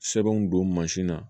Sɛbɛnw don mansin na